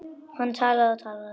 Hann talaði og talaði.